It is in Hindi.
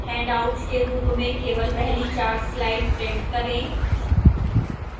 handouts के रूप में केवल पहली चार slides print करें